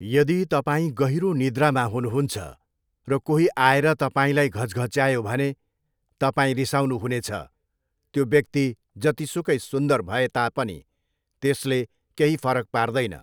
यदि तपाईँ गहिरो निद्रामा हुनुहुन्छ र कोही आएर तपाईँलाई घचघच्यायो भने तपाईं रिसाउनुहुनेछ। त्यो व्यक्ति जतिसुकै सुन्दर भए तापनि त्यसले केही फरक पार्दैन!